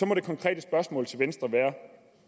må det konkrete spørgsmål til venstre være